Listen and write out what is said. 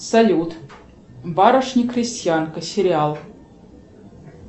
салют барышня крестьянка сериал